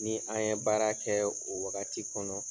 Ni an ye baara kɛ o wagati kɔnɔ.